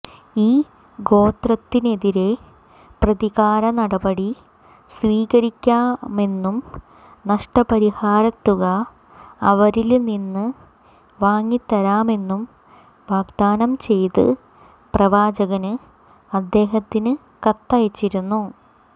ഈ ഗോത്രത്തിനെതിരെ പ്രതികാര നടപടി സ്വീകരിക്കാമെന്നും നഷ്ടപരിഹാരത്തുക അവരില്നിന്ന് വാങ്ങിത്തരാമെന്നും വാഗ്ദാനം ചെയ്ത് പ്രവാചകന് അദ്ദേഹത്തിന് കത്തയച്ചിരുന്നു